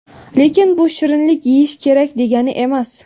Lekin bu shirinlik yeyish kerak degani emas.